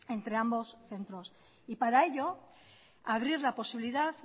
entre ambos centros y para ello abrir la posibilidad